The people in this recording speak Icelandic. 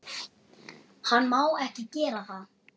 Hann má ekki gera það.